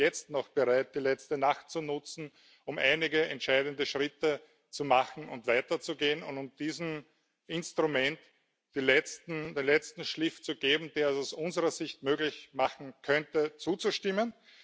Wir sind auch jetzt noch bereit, die letzte Nacht zu nutzen, um einige entscheidende Schritte zu machen und weiterzugehen und um diesem Instrument den letzten Schliff zu geben, der es aus unserer Sicht möglich machen könnte, zuzustimmen.